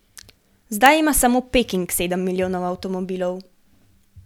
Zdaj ima samo Peking sedem milijonov avtomobilov.